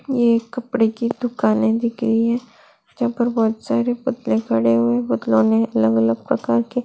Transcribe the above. ये एक कपड़े की दुकाने दिख रही हैं यहाँ पे बोहोत सारे पुतले खड़े हुए पुतले ने अलग-अलग प्रकार के --